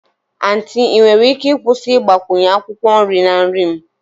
Aunty ị nwere ike ịkwụsị ịgbakwunye akwụkwọ nri na nri m?